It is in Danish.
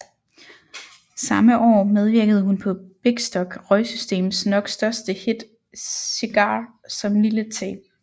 Samme år medvirkede hun på Bikstok Røgsystems nok største hit Cigar som Lille T